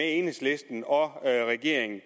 enhedslisten og regeringen